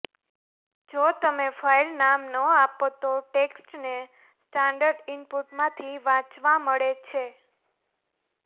જો તમે ફાઇલનામ ન આપો તો ટેક્સ્ટને સ્ટાન્ડર્ડ ઇનપુટમાંથી વાંચવા મળે છે